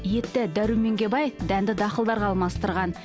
етті дәруменге бай дәнді дақылдарға алмастырған